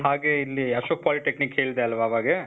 ಹಾಗೆ ಇಲ್ಲಿ ಅಶೋಕ್ polytechnic ಹೇಳ್ದೆ ಅಲ್ವ ಅವಾಗೇ?